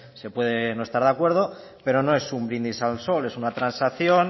se puede no estar de acuerdo pero no es un brindis al sol es una transacción